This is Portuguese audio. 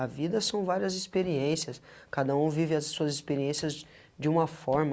A vida são várias experiências, cada um vive as suas experiências de uma forma